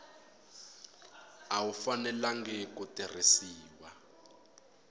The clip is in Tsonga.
a wu fanelangi ku tirhisiwa